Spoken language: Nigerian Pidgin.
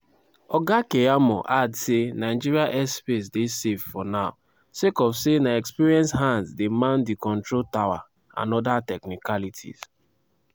oga keyamo add say "nigeria airspace dey safe for now" sake of say na experienced hands dey man di control tower and oda technicalities.